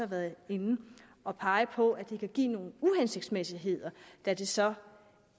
været inde at pege på at det kan give nogle uhensigtsmæssigheder da det så